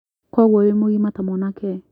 Koguo wĩ mũgima ta mwanake